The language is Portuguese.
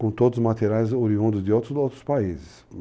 com todos os materiais oriundos de outros outros países.